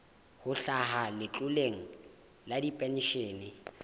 ho hlaha letloleng la dipenshene